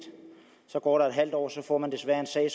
så går der et halvt år og så får man desværre en sag